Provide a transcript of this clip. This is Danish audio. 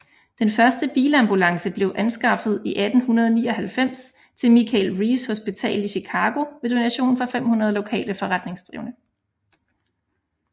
Den første bilambulance blev anskaffet i 1899 til Michael Reese Hospital i Chicago ved donation fra 500 lokale forretningsdrivende